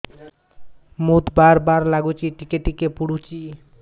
ମୁତ ବାର୍ ବାର୍ ଲାଗୁଚି ଟିକେ ଟିକେ ପୁଡୁଚି